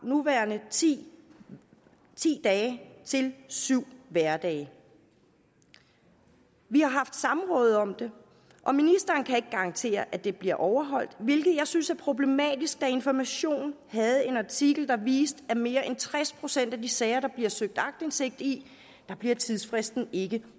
nuværende ti dage til syv hverdage vi har haft samråd om det og ministeren kan ikke garantere at det bliver overholdt hvilket jeg synes er problematisk da information havde en artikel der viste at i mere end tres procent af de sager der bliver søgt aktindsigt i bliver tidsfristen ikke